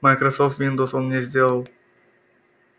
майкрософт виндоуз он мне сделал